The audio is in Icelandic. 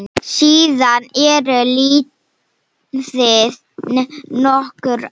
Síðan eru liðin nokkur ár.